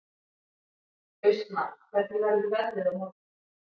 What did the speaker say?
Austmar, hvernig verður veðrið á morgun?